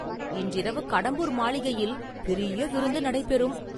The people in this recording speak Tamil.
இன்றிரவு கடம்பூர் மாளிகையில் பெரிய விருந்து நடைபெறும்.